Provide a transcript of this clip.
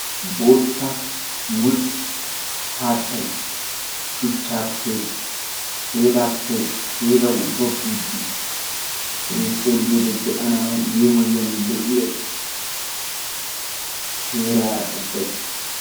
bootta mulxxa haattay shuchaappe keelaappe keelawu gogiidi eqqidi xeelliyoode be'anawu yemmoyiyya lo'iya heeraara ubbay